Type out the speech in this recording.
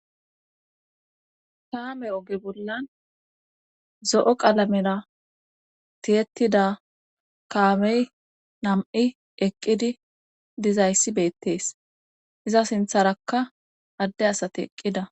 kaame oge bollan zo7o qalamera tiyettida kaamey nam7i eqqidi dizayssi beettees iza sintharakka adde asate eqqida.